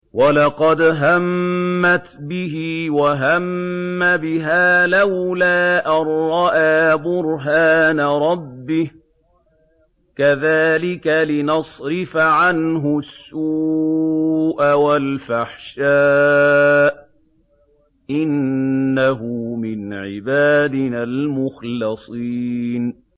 وَلَقَدْ هَمَّتْ بِهِ ۖ وَهَمَّ بِهَا لَوْلَا أَن رَّأَىٰ بُرْهَانَ رَبِّهِ ۚ كَذَٰلِكَ لِنَصْرِفَ عَنْهُ السُّوءَ وَالْفَحْشَاءَ ۚ إِنَّهُ مِنْ عِبَادِنَا الْمُخْلَصِينَ